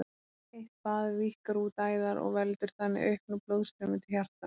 Heitt bað víkkar út æðar og veldur þannig auknu blóðstreymi til hjartans.